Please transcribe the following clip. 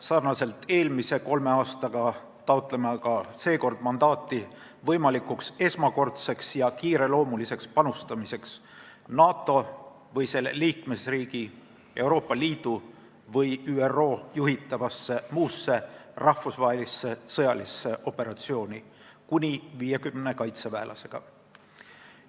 Nii nagu eelmisel kolmel aastal taotleme ka seekord mandaati võimalikuks esmakordseks ja kiireloomuliseks panustamiseks NATO või selle liikmesriigi, Euroopa Liidu või ÜRO juhitavasse muusse rahvusvahelisse sõjalisse operatsiooni kuni 50 kaitseväelasega.